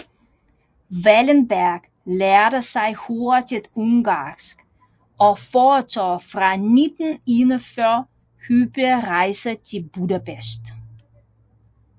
Wallenberg lærte sig hurtigt ungarsk og foretog fra 1941 hyppige rejser til Budapest